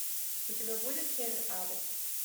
у тебя будет север ада